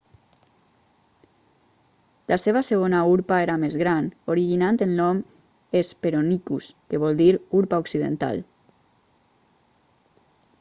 la seva segona urpa era més gran originant el nom hesperonychus que vol dir urpa occidental